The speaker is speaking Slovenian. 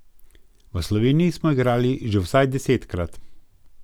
V Sloveniji smo igrali že vsaj desetkrat.